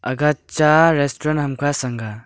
aga cha restaurant hamkha changga.